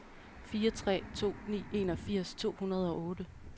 fire tre to ni enogfirs to hundrede og otte